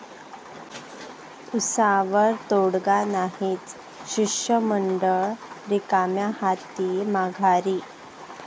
उसावर तोडगा नाहीच, शिष्टमंडळ रिकाम्या हाती माघारी!